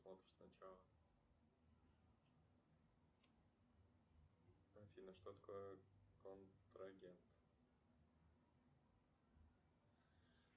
афина что такое контрагент